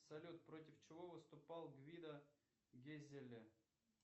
салют против чего выступал гвидо гезеле